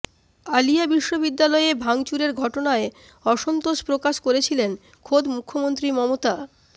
আলিয়া বিশ্ববিদ্যালয়ে ভাঙচুরের ঘটনায় অসন্তোষ প্রকাশ করেছিলেন খোদ মুখ্যমন্ত্রী মমতা